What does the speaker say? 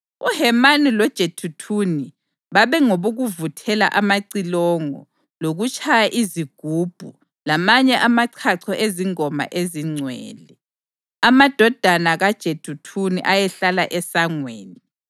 UHemani loJeduthuni babengabokuvuthela amacilongo lokutshaya izigubhu lamanye amachacho ezingoma ezingcwele. Amadodana kaJeduthuni ayehlala esangweni.